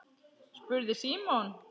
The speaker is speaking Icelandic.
spurði Símon.